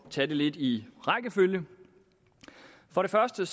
tage det lidt i rækkefølge for det første